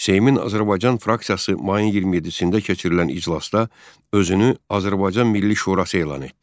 Seymin Azərbaycan fraksiyası mayın 27-də keçirilən iclasda özünü Azərbaycan Milli Şurası elan etdi.